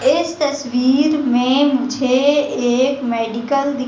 इस तस्वीर में मुझे एक मेडिकल दी--